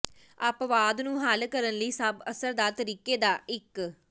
ਅਪਵਾਦ ਨੂੰ ਹੱਲ ਕਰਨ ਲਈ ਸਭ ਅਸਰਦਾਰ ਤਰੀਕੇ ਦਾ ਇੱਕ